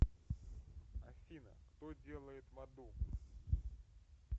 афина кто делает в аду